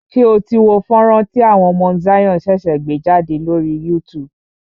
Ṣé o tí wo fọ́nrán tí àwọn Mount Zion ṣẹ̀ṣẹ̀ gbé jádè lórí YouTube?